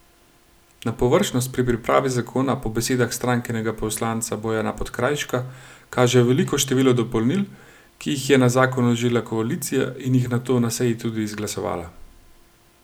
Na površnost pri pripravi zakona po besedah strankinega poslanca Bojana Podkrajška kaže veliko število dopolnil, ki jih je na zakon vložila koalicija in jih nato na seji tudi izglasovala.